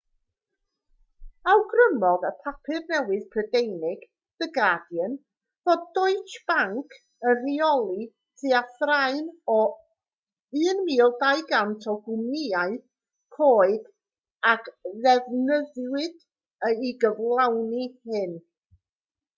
awgrymodd y papur newydd prydeinig the guardian fod deutsche bank yn rheoli tua thraean o'r 1200 o gwmnïau coeg a ddefnyddiwyd i gyflawni hyn